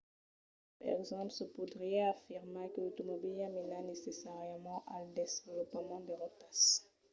per exemple se podriá afirmar que l'automobila mena necessàriament al desvolopament de rotas